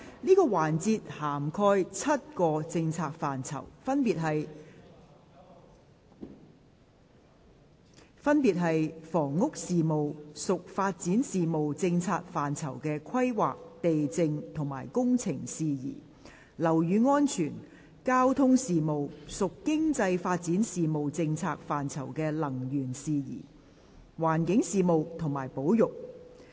這個環節涵蓋7個政策範疇，分別是：房屋事務；屬發展事務政策範疇的規劃、地政及工程事宜；樓宇安全；交通事務；屬經濟發展事務政策範疇的能源事宜；環境事務；及保育。